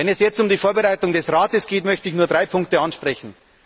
Wenn es jetzt um die Vorbereitung des Rates geht, möchte ich nur drei Punkte ansprechen.